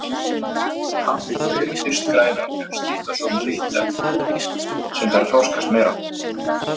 Paprikur eru fyrst grænar en skipta svo um lit eftir því sem þær þroskast meira.